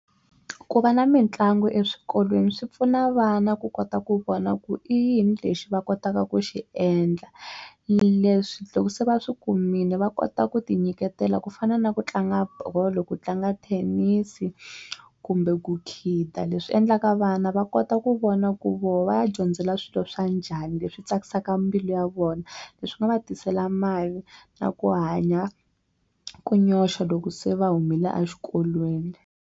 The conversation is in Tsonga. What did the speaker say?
Ku va na mitlangu eswikolweni swi pfuna vana ku kota ku vona ku i yini lexi va kotaka ku xi endla leswi loko se va swi kumile va kota ku ti nyiketela ku fana na ku tlanga bolo ku tlanga thenisi kumbe ku khida leswi endlaka vana va kota ku vona ku voho va ya dyondzela swilo swa njhani leswi tsakisaka mbilu ya vona leswi nga va tisela mali na ku hanya ku nyoxa loko se va humele exikolweni.